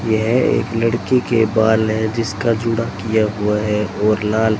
यह एक लड़की के बाल हैं जिसका जुड़ा किया हुआ है और लाल--